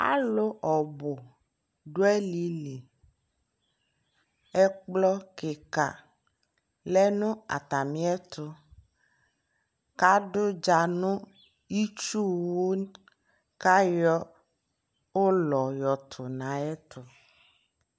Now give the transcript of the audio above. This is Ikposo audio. alʋ ɔbʋ dʋ alili, ɛkplɔ kikaa lɛnʋ atami ɛtʋ kʋ adʋ ʋdza nʋ itsʋ wʋkʋayɔ ʋlɔ tʋnʋ ayɛtʋ